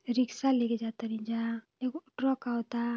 Rickshaw ले के जा तनी जा। एगो ट्रक आवता।